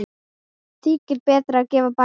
Þykir betra að gefa barnið.